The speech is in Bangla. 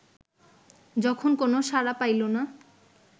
যখন কোন সাড়া পাইল না